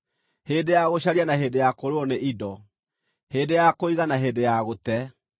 hĩndĩ ya gũcaria na hĩndĩ ya kũũrĩrwo nĩ indo, hĩndĩ ya kũiga, na hĩndĩ ya gũte,